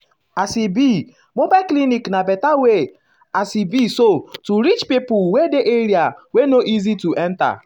as e be mobile clinic na better way as e be so to um reach pipo wey dey area wey no easy to enta.